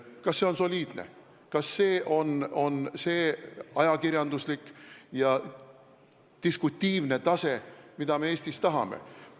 Kas see on soliidne, kas see on ajakirjanduslik ja diskutiivne tase, mida me Eestis tahame?